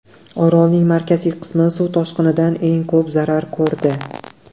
Orolning markaziy qismi suv toshqinidan eng ko‘p zarar ko‘rdi.